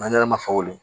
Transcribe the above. ma faw bolo